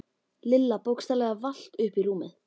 Lilla bókstaflega valt upp í rúmið.